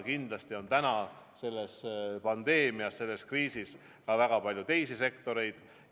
Küll aga on täna selle pandeemia tõttu, selle kriisi tõttu hädas ka väga palju teisi sektoreid.